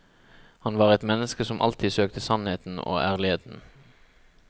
Han var et menneske som alltid søkte sannheten og ærligheten.